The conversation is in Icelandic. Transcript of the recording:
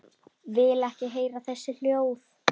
Vil ekki heyra þessi hljóð.